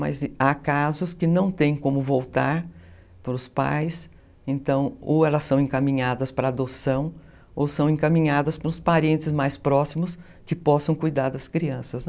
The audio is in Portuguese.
Mas há casos que não tem como voltar para os pais, então ou elas são encaminhadas para adoção ou são encaminhadas para os parentes mais próximos que possam cuidar das crianças, né?